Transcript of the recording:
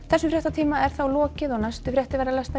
þessum fréttatíma er lokið næstu fréttir verða